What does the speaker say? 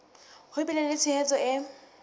ho bile le tshehetso e